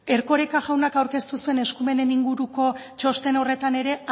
erkoreka jaunak aurkeztu zuen eskumenen inguruko txosten horretan ere